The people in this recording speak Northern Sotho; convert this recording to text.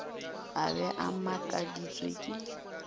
a be a makaditšwe ke